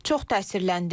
Çox təsirləndim.